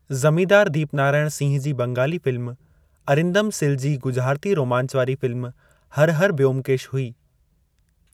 ज़मींदार दीपनारायण सिंह जी बंगाली फ़िल्म अरिंदम सिल जी ॻुझारिती रोमांच वारी फ़िल्म हर हर ब्योमकेश हुई।